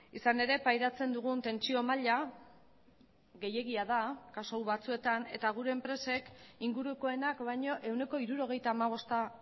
izan ere pairatzen dugun tentsio maila gehiegia da kasu batzuetan eta gure enpresek ingurukoenak baino ehuneko hirurogeita hamabosta